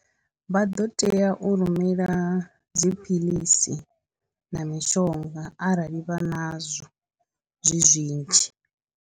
Vha ḓo tea u rumela dziphilisi na mishonga arali vha nazwo zwi zwinzhi.